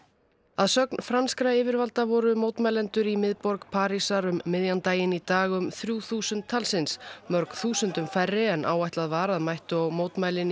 að sögn franskra yfirvalda voru mótmælendur í miðborg Parísar um miðjan daginn í dag um þrjú þúsund talsins mörg þúsundum færri en áætlað var að mættu á mótmælin